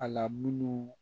A la munnu